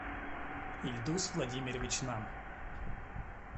ильдус владимирович нам